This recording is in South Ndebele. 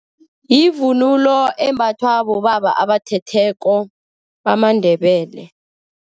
Yivunulo embathwa bobaba abathetheko, bamaNdebele.